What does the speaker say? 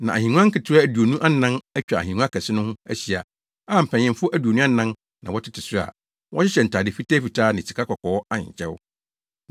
Na ahengua nketewa aduonu anan atwa ahengua kɛse no ho ahyia a mpanyimfo aduonu anan na wɔtete so a wɔhyehyɛ ntade fitafitaa ne sikakɔkɔɔ ahenkyɛw.